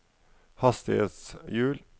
hastighetshjul